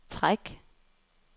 træk